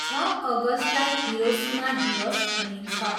छ अगस्टलाई हिरोसिमा दिवस भनिन्छ।